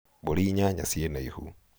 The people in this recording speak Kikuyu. mbũri inyanya ciĩ na ihu